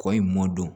Kɔ in mɔ don